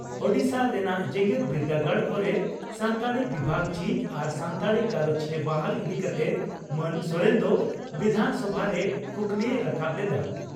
ᱳᱰᱤᱥᱟ ᱨᱮᱱᱟᱜ ᱡᱮᱜᱮᱛ ᱵᱤᱨᱰᱟᱹᱜᱟᱲ ᱠᱚᱨᱮ ᱥᱟᱱᱛᱟᱲᱤ ᱵᱤᱵᱷᱟᱜᱽ ᱡᱷᱤᱡ ᱟᱨ ᱥᱟᱱᱛᱟᱲᱤ ᱜᱟᱞᱚᱪᱤᱭᱟᱹ ᱵᱟᱦᱟᱞ ᱤᱫᱤ ᱠᱟᱛᱮ ᱢᱟᱱ ᱥᱚᱨᱮᱱ ᱫᱚ ᱵᱤᱫᱷᱟᱱᱥᱚᱵᱷᱟ ᱨᱮ ᱠᱩᱠᱞᱤᱭ ᱨᱟᱠᱟᱵ ᱞᱮᱫᱼᱟ ᱾